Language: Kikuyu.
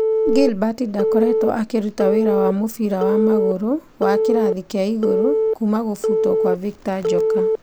Gilbert ndakoretwo akĩruta wĩra wa mũbira wa magũrũ wa kĩrathi kĩa igũrũ kuma gũbutwo kwa Victor Njoka.